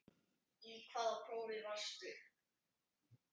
Í hvaða prófi varstu?